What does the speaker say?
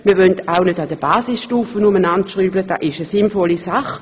Wir wollen auch nichts an der Basisstufe ändern, denn diese ist eine sinnvolle Sache.